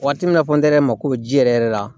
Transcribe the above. Waati min na fɔ yɛrɛ mako bɛ ji yɛrɛ yɛrɛ la